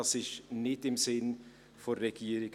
Eine solche Verdrängung ist nicht im Sinne der Regierung.